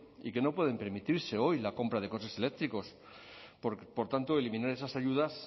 y que no pueden permitirse hoy la compra de coches eléctricos por tanto eliminar esas ayudas